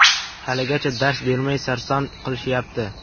Haligacha dars bermay sarson qilishyapti.